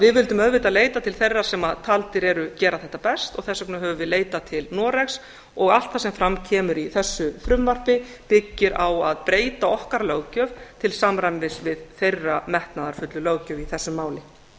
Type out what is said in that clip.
við vildum auðvitað leita til þeirra sem taldir eru gera þetta best og þess vegna höfum við leitað til noregs og allt það sem fram kemur í þessu frumvarpi byggir á að breyta okkar löggjöf til samræmis við þeirra metnaðarfullu löggjöf í þessu máli